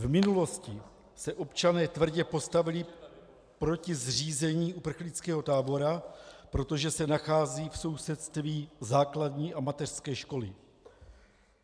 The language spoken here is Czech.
V minulosti se občané tvrdě postavili proti zřízení uprchlického tábora, protože se nachází v sousedství základní a mateřské školy.